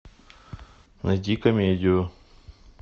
найди комедию